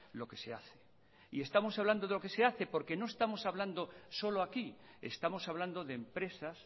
lo que se hace y estamos hablando de lo que se hace porque no estamos hablando solo aquí estamos hablando de empresas